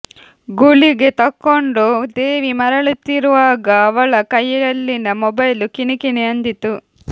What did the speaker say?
ಗುಳಿಗೆ ತಕ್ಕೊಂಡು ದೇವಿ ಮರಳುತ್ತಿರುವಾಗ ಅವಳ ಕೈಯಲ್ಲಿನ ಮೊಬೈಲು ಕಿಣಿಕಿಣಿ ಅಂದಿತು